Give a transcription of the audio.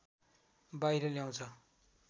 बाहिर ल्याउँछ